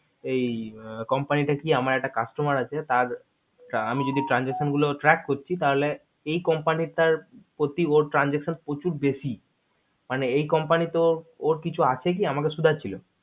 এই company টা কি আমার একটা customer আছে তার আমি যদি transaction গুলো track করছি তাহলে এই company তার প্রতি ওর transaction প্রচুর বেশি মানে এই company ত ওর কিছু আছে কি আমাকে সুধাচ্ছিলো